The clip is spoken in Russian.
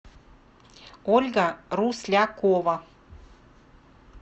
ольга руслякова